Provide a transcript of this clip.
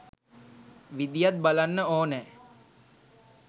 විදියත් බලන්න ඕනෑ.